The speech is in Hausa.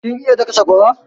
Kin iya daka sakwara?